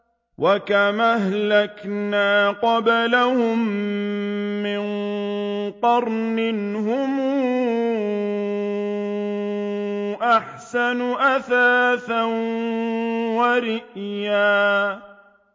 وَكَمْ أَهْلَكْنَا قَبْلَهُم مِّن قَرْنٍ هُمْ أَحْسَنُ أَثَاثًا وَرِئْيًا